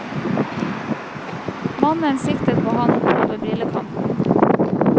Mannen siktet på ham over brillekanten.